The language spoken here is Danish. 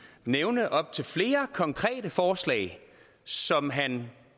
nævne op til flere konkrete forslag som han